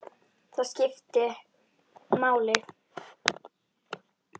Það eitt skipti máli.